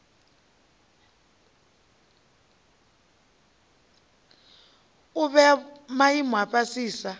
u vhea maimo a fhasisa